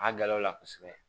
A galaw la kosɛbɛ